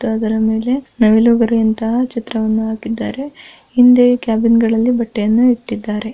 ಮತ್ತು ಅದರ ಮೇಲೆ ನವಿಲುಗರಿ ಅಂತಹ ಚಿತ್ರವನ್ನು ಹಾಕಿದ್ದಾರೆ ಹಿಂದೆ ಕ್ಯಾಬಿನ್ ಗಳಲ್ಲಿ ಬಟ್ಟೆ ಯನ್ನು ಇಟ್ಟಿದ್ದಾರೆ .